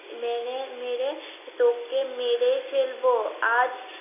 মেরে মেরে তোকে মেরে ফেলবো আজ